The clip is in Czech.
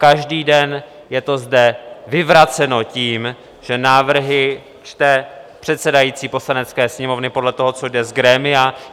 Každý den je to zde vyvraceno tím, že návrhy čte předsedající Poslanecké sněmovny podle toho, co jde z grémia.